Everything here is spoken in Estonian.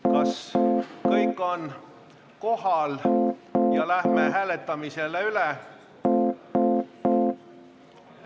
Kas kõik on kohal ja asume hääletama?